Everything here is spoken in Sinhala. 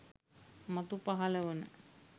මතු පහළ වන